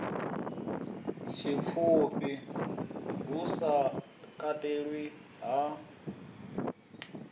tshipfufhi hu sa katelwi ha